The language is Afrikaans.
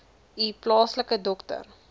u plaaslike dokter